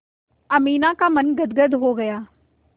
अमीना का मन गदगद हो गया